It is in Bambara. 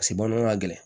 Paseke bamananw ka gɛlɛn